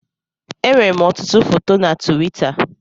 Enwèrè m ọtụtụ foto na Tuwita.